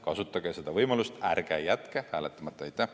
Kasutage seda võimalust, ärge jätke hääletamata!